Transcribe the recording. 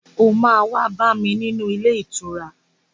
O máa wá bá mi ní ilé ìtura.